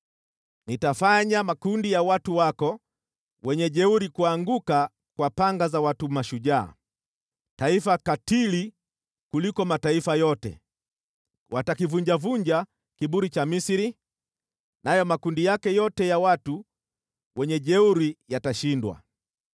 Nitafanya makundi yako ya wajeuri kuanguka kwa panga za watu mashujaa, taifa katili kuliko mataifa yote. Watakivunjavunja kiburi cha Misri, nayo makundi yake yote ya wajeuri yatashindwa.